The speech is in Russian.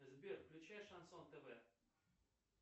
сбер включай шансон тв